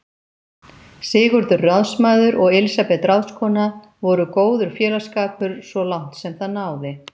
Sigurður ráðsmaður og Elísabet ráðskona voru góður félagsskapur svo langt sem það náði.